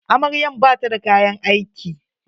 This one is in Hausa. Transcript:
Amaryan bata da kayan aiki.